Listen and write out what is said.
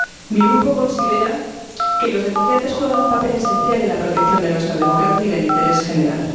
Mi grupo considera que los denunciantes juegan un papel esencial en la protección de nuestra democracia y del interés general.